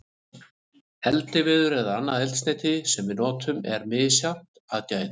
Eldiviður eða annað eldsneyti sem við notum er misjafnt að gæðum.